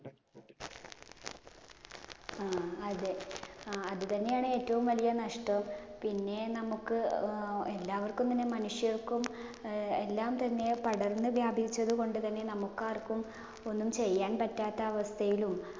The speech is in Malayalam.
ആ അതെ അതു തന്നെയാണ് ഏറ്റവും വലിയ നഷ്ടവും. പിന്നെ നമുക്ക് എല്ലാവർക്കും തന്നെ മനുഷ്യർക്കും എല്ലാം തന്നെ പടർന്ന് വ്യാപിച്ചത് കൊണ്ട് തന്നെ നമുക്ക് ആർക്കും ഒന്നും ചെയ്യാൻ പറ്റാത്ത അവസ്ഥയിലും